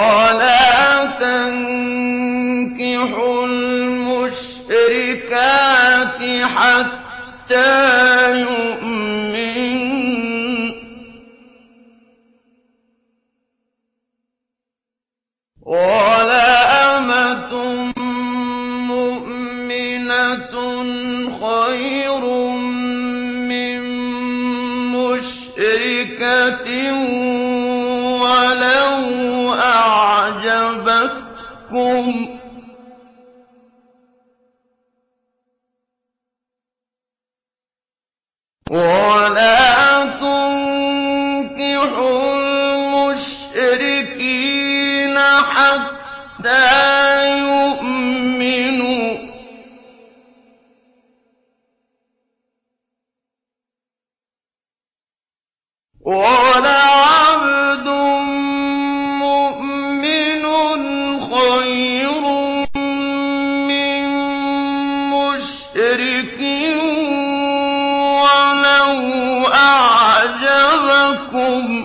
وَلَا تَنكِحُوا الْمُشْرِكَاتِ حَتَّىٰ يُؤْمِنَّ ۚ وَلَأَمَةٌ مُّؤْمِنَةٌ خَيْرٌ مِّن مُّشْرِكَةٍ وَلَوْ أَعْجَبَتْكُمْ ۗ وَلَا تُنكِحُوا الْمُشْرِكِينَ حَتَّىٰ يُؤْمِنُوا ۚ وَلَعَبْدٌ مُّؤْمِنٌ خَيْرٌ مِّن مُّشْرِكٍ وَلَوْ أَعْجَبَكُمْ ۗ